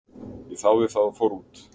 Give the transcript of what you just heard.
Ég þáði það og fór út.